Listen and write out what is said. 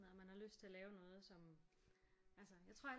Noget og man har lyst til at lave noget som altså